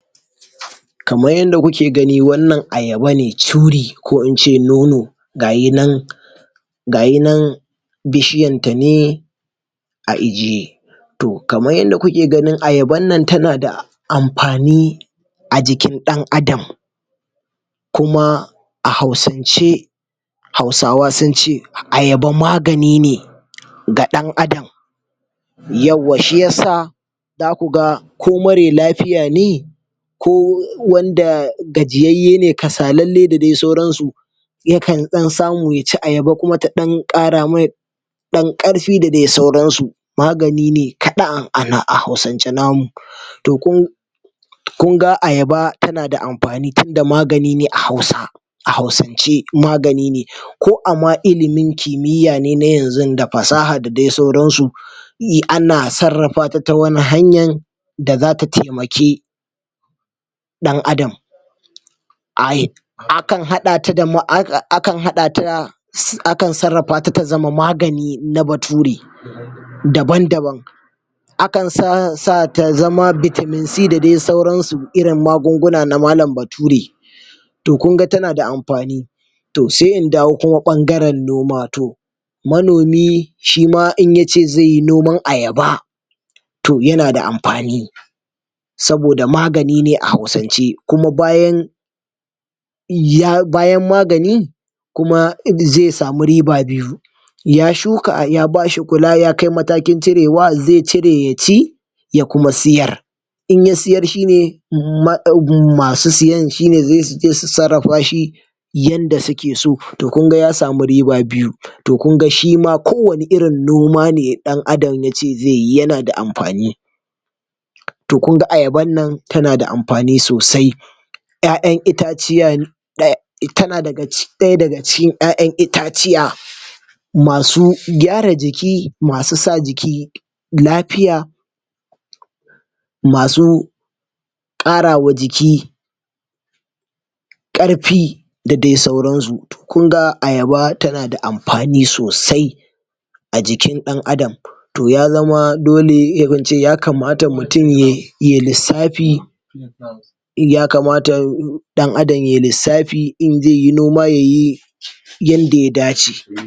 kamar yadda kuke gani wannan ayaba ne curi ko in ce nono ga yinan um bishiyanta ne a ijiye to kaman yadda kuke gani ayaban nan tana da amfani a jikin ɗan adam kuma a hausan ce hausawa sunce ayaba magani ne ga ɗan adam yauwa shi yasa zaku ga ko mare lafiya ne ko wanda gajiyayye ne kasalalle da dai sauran su yakan ɗan samu yaci ayaba kuma ta ɗan ƙara mai ɗan ƙarfi da dai sauran su magani ne kaɗa a hausan ce namu to kun kunga ayaba tana da amfani tunda amgani ne a hausa a hausance magani ne ko a ma ilimin kimiya ne na yanzun da fasaha da dai sauransu ana sarrafata ta wata hanyan da zata taimaki ɗan adam um akan haɗa ta akan sarrafata ta zama magani na bature daban daban akan sa um ta zama vitamin C da dai sauran su irin magunguna na malam bature to kunga tana da amfani to se in dawo kuma ɓangaren noma to manomi shima in yace zeyi noman ayaba to yana da amfani saboda magani ne a hausance kuma bayan um koma bayan magani kuma ze samu riba biyu ya shuka ayaba ya bashi kula yakai matakin cirewa ze cire ya ci ya kuma siyar in ya siyar shine um masu siyan shine se suje su sarrafa shi yanda suke so to kunga ya samu riba biyu to kunga shima ko wanne irin ne ɗan adam yace zeyi yana da amfani to kunga ayaban nan tana da amfani sosai ƴaƴan itaciya tana daga cikin ɗaya daga cikin ƴaƴan itaciya masu gyara jiki masu sa jiki lafiya masu ƙarawa jiki ƙarfi da dai sauran su to kunga ayaba tana da amfani sosai a jikin ɗan adam to ya zama dole ko muce ya kama ta mutum yai lissafi ya kamata ɗan adam yai lissafi in zeyi noma yayi yanda ya dace